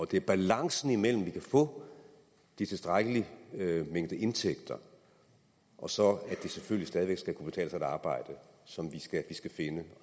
det er balancen mellem at få en tilstrækkelig mængde indtægter og så at det selvfølgelig stadig væk skal kunne betale sig at arbejde som vi skal finde